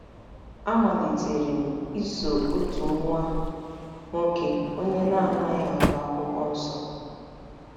A malitere m iso otu nwa nwoke onye na-anaghị agụ Akwụkwọ Nsọ.